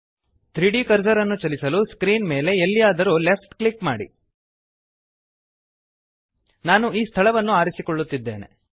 3ದ್ ಕರ್ಸರ್ ಅನ್ನು ಚಲಿಸಲು ಸ್ಕ್ರೀನ್ ಮೇಲೆ ಎಲ್ಲಿಯಾದರೂ ಲೆಫ್ಟ್ ಕ್ಲಿಕ್ ಮಾಡಿ ನಾನು ಈ ಸ್ಥಳವನ್ನು ಆರಿಸಿಕೊಳ್ಳುತ್ತಿದ್ದೇನೆ